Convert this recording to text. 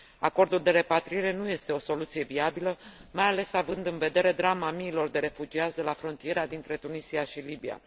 Acordul de repatriere nu este o soluție viabilă, mai ales având în vedere drama miilor de refugiați de la frontiera dintre Tunisia și Libia.